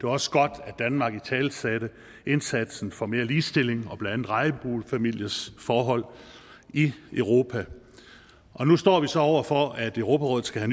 også godt at danmark italesatte indsatsen for mere ligestilling og blandt andet regnbuefamiliers forhold i europa nu står vi så over for at europarådet skal